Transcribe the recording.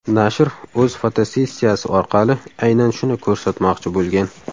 Nashr o‘z fotosessiyasi orqali aynan shuni ko‘rsatmoqchi bo‘lgan.